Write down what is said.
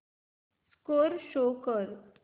score show कर